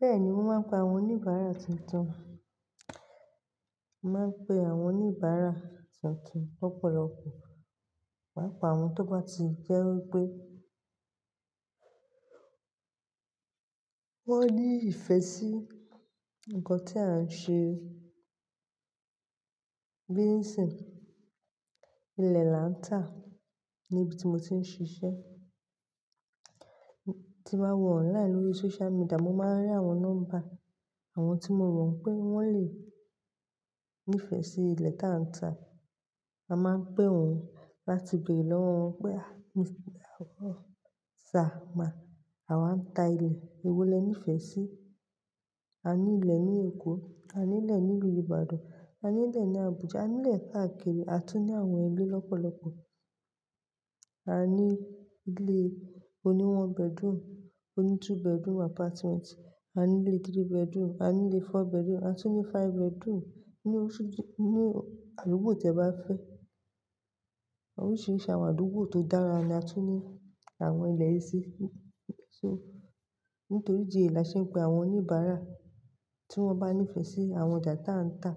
Bẹ́ẹ̀ni, mo máa ń pe àwọn oníbàárà tuntun. Mo máa ń pe àwọn oníbàárà tuntun lọ̀pọ̀lọpọ̀. Pàápa àwọn tó bá ti jẹ́ wípé wọ́n ní ìfẹ́ sí nǹkan tí a ń ṣe. Bí ń'sìn. Ilẹ̀ la ń tà níbi tí mo ti ń ṣiṣẹ́. Tí mo bá wọ̀ online lórí social media, mo máa rí àwọn nọ́mbà àwọn tí mo rò pé wọ́n lè nífẹ̀ẹ́ sí ilẹ̀ tá ń tà. A máa ń pé wọn láti béèrè lọ́wọ́ wọn pé, "à, sir má, àwa ń tà ilẹ̀. Èwo lẹ nífẹ̀ẹ́ sí? A ní ilẹ̀ ní Èkó, a ní'lẹ̀ nílu Ìbàdàn, a ní'lẹ̀ ní Àbújá, a ní'lẹ̀ káàkiri. A tún ní àwọn ilé lọ́pọ̀lọpọ̀. A ní ilé oní one bedroom, oní two bedroom apartment, a ní'lé three bedroom, a ní'lé four bedroom, a tún ní five bedroom. Ni oṣù-- ní àdúgbò tí ẹ bá fẹ́. Oríṣiríṣi àwọn àdúgbò tó dára ni a tún ní àwọn ilẹ̀ yìí sí. So, nítorí ìdí èyí là ṣé n pé àwọn oníbàárà tí wọ́n bá nífẹ̀ẹ́ sí àwọn ọjà tá ń tà.